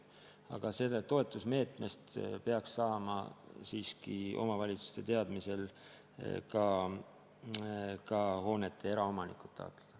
Aga sellest toetusmeetmest peaks saama siiski omavalitsuste teadmisel ka hoonete eraomanikud raha taotleda.